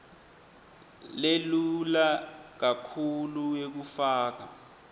lelula kakhulu yekufaka